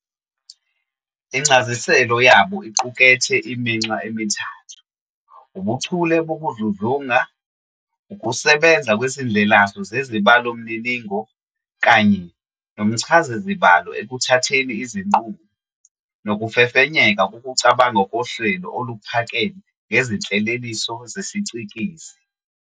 Incasiselo yabo iqukethe iminxa emithathu- ubuchule bokudludlunga, ukusebenza kwezindlelasu zezibalomininingo kanye nomchazazibalo ekuthatheni izinqumo, nokufefenyeka kokucabanga kohlelo oluphakeme ngezinhleleliso zesicikizi.